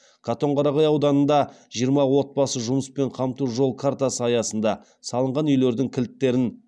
катонқарағай ауданында жиырма отбасы жұмыспен қамту жол картасы саясында салынған үйлердің кілттерін